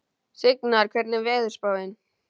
Signar, hvernig er veðurspáin?